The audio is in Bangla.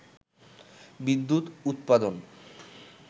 বিদ্যুৎ উৎপাদন